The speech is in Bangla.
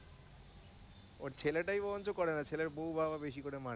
ওর ছেলেটাই বরঞ্চ করে না ছেলের বউ বা ও বেশি করে মানে।